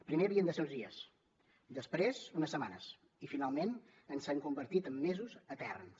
primer havien de ser uns dies després unes setmanes i finalment s’han convertit en mesos eterns